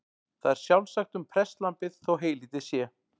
Það er sjálfsagt um prestlambið þó heylítið sé.